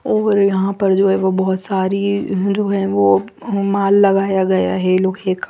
और यहाँ पर जो है बहत सारी माल लगाया गया है लोग हे--